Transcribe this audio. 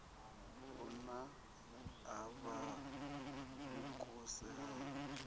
u naka a vhukuse ha